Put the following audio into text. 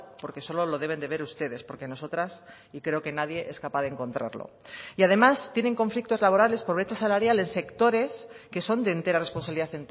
porque solo lo deben de ver ustedes porque nosotras y creo que nadie es capaz de encontrarlo y además tienen conflictos laborales por brecha salarial en sectores que son de entera responsabilidad